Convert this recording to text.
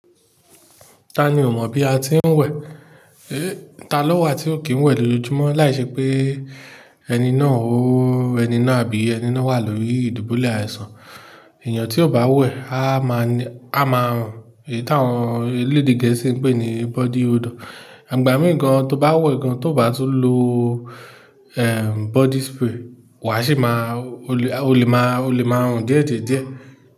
Ta ni ò mọ̀ bí a ti ń wẹ̀? Ta ló wà tí ò kí ń wẹ̀ lójoojúmọ́ láìṣẹ́ pé ẹni náà wà lórí ìdìbu lè àìsàn. Ẹ̀yàn tí kò bá wẹ̀, a máa run, èyí táwọn ẹlẹdẹ gẹẹsi ń pè ní body odour. Ìgbà mìí tó bá wẹ̀ gan, tó bá tún lo, body spray o lè máa run díẹ̀díẹ̀díẹ̀.